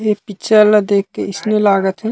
एक पिक्चर ला देख के ऐसने लागत हे।